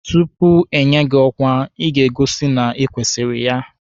Tupu enye gị ọkwa, Ị ga-egosi na ịkwesịrị ya